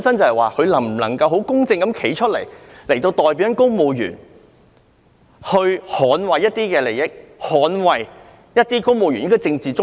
他能否公正地代表公務員和捍衞公務員的利益和政治中立？